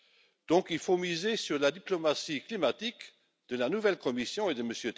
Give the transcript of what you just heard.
Il faut donc miser sur la diplomatie climatique de la nouvelle Commission et de M.